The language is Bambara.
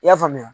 I y'a faamuya